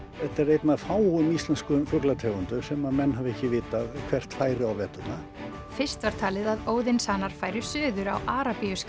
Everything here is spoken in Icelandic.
þetta er ein af fáum íslenskum fuglategundum sem menn hafa ekki vitað hvert færi á veturna fyrst var talið að færu suður á Arabíuskaga